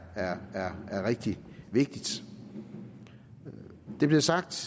er er rigtig vigtigt det blev sagt